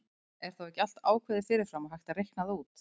Er þá ekki allt ákveðið fyrir fram og hægt að reikna það út?